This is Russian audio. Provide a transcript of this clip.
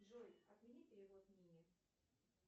джой отмени перевод нине